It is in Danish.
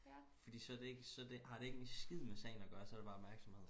fordi så er det ikke så det så har det ikke en skid med sagen at gøre så bliver det bare opmærksomhed